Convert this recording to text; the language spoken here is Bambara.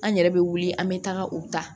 An yɛrɛ bɛ wuli an bɛ taga u ta